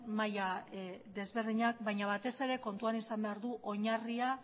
mailak ezberdinak baina batez ere kontuan izan behar du oinarria